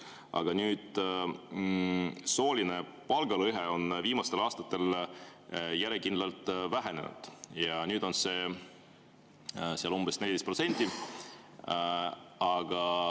Aga sooline palgalõhe on viimastel aastatel järjekindlalt vähenenud ja nüüd on see umbes 14%.